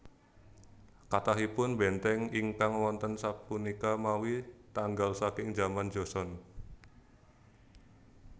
Kathahipun bèntèng ingkang wonten sapunika mawi tanggal saking jaman Joseon